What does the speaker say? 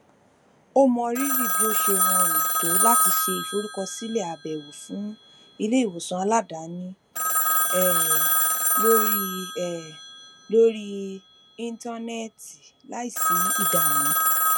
ó mọrírì bí ó ṣe rọrùn tó láti ṣe ìforúkọsílẹ abẹwo fún iléìwòsàn aládaani um lórí um lórí íńtánẹẹtì láìsí ìdààmú